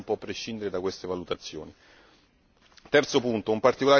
Per questo una strategia di sicurezza interna non può prescindere da queste valutazioni.